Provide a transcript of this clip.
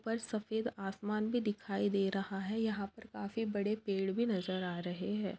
ऊपर सफ़ेद आसमान भी दिखाई दे रहा है यहां पर काफी बड़े पेड़ भी नजर आ रहे है।